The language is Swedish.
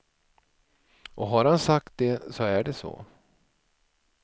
Och har han sagt det så är det så.